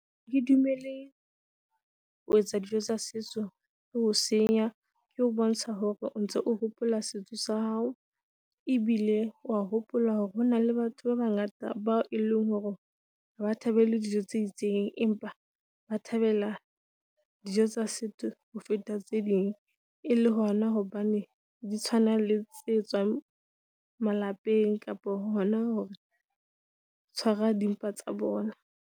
Ke dumele ho etsa dijo tsa setso, le ho senya ke ho bontsha hore o ntso hopola setso sa hao, ebile wa hopola hore hona le batho ba bangata bao e leng hore ha ba thabele dijo tse itseng. Empa ba thabela dijo tsa setso ho feta tse ding e le hona hobane di tshwana le tswa malapeng kapa hona ho, tshwara dimpa tsa bona.